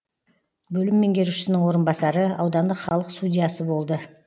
бөлім меңгерушісінің орынбасары аудандық халық судьясы болды